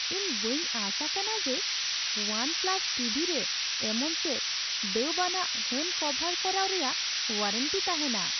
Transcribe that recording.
ᱤᱧ ᱵᱟᱹᱧ ᱟᱸᱥ ᱟᱠᱟᱱᱟ ᱡᱮ ᱳᱣᱟᱱ ᱯᱞᱟᱥ ᱴᱤᱵᱷᱤ ᱨᱮ ᱮᱢᱚᱱ ᱪᱮᱫ ᱫᱟᱹᱵᱽ ᱟᱱᱟᱜ ᱦᱟᱹᱱ ᱠᱚᱵᱷᱟᱨ ᱠᱚᱨᱟᱣ ᱨᱮᱭᱟᱜ ᱳᱣᱟᱨᱮᱱᱴᱤ ᱛᱟᱦᱮᱱᱟ ᱾